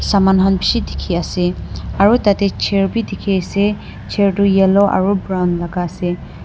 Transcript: saman han bishi dikhi ase aro tatey chair bi dikhi ase chair tu yellow aro brown laga ase.